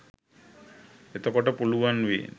එතකොට පුළුවන් වේ